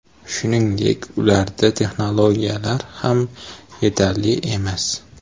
Shuningdek, ularda texnologiyalar ham yetarli emas.